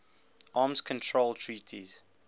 arms control treaties